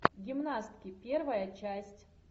гимнастки первая часть